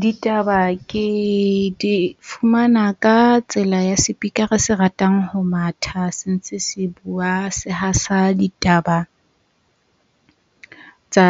Ditaba ke di fumana ka tsela ya sepikara se ratang ho matha se ntse se bua se hasa ditaba tsa